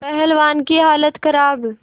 पहलवान की हालत खराब